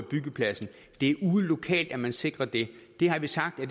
byggepladsen det er ude lokalt at man sikrer det det har vi sagt at